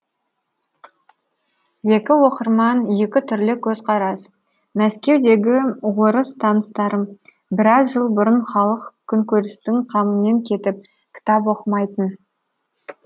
екі оқырман екі түрлі көзқарас мәскеудегі орыс таныстарым біраз жыл бұрын халық күнкөрістің қамымен кетіп кітап оқымайтын